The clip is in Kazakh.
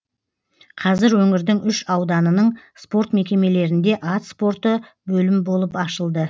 қазір өңірдің үш ауданының спорт мекемелерінде ат спорты бөлім болып ашылды